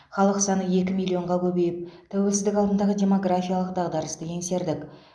халық саны екі миллионға көбейіп тәуелсіздік алдындағы демографиялық дағдарысты еңсердік